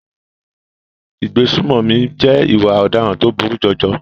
Ìgbésùnmọ̀mí jẹ́ ìwà ọ̀daràn tó burú jọjọ.